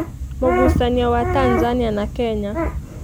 Mũgucanio wa Tanzania na Kenya.